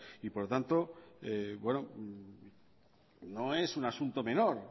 por lo tanto no es un asunto menor